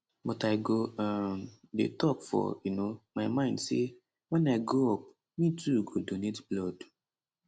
but i go um dey tok for um my mind say wen i grow up me too go donate blood